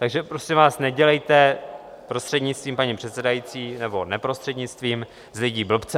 Takže prosím vás, nedělejte, prostřednictvím paní předsedající, nebo neprostřednictvím, z lidí blbce.